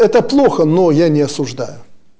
это плохо но я не осуждаю